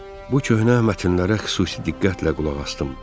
Bu köhnə mətnlərə xüsusi diqqətlə qulaq asdım.